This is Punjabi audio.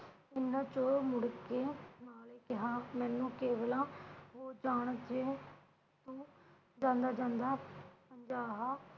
ਇਨ੍ਹਾਂ ਚੋਂ ਮੁੜਕੇ ਨਾਲੇ ਕਿਹਾ ਮੈਨੂੰ ਹੋ ਜਾਣ ਇੱਥੇ ਜਾਂਦਾ ਜਾਂਦਾ